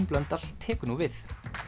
Blöndal tekur nú við